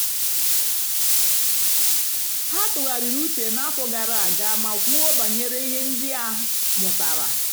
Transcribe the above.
ha tụ̀ghàrị̀rì ùchè n'àfọ́ gààrà àga mà kwùó bànyèrè ihe ndí a mụ́tàra.